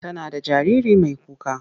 Tana da jariri mai kuka.